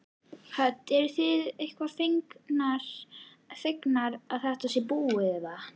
Hödd: Eruð þið eitthvað fegnar að þetta sé búið eða?